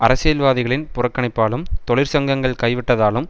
அரசியல்வாதிகளின் புறக்கணிப்பாலும் தொழிற்சங்கங்கள் கைவிட்டுவிட்டதாலும்